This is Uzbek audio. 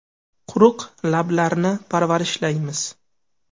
Quruq lablarni parvarishlaymiz.